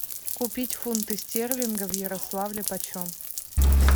купить фунты стерлингов в ярославле по чем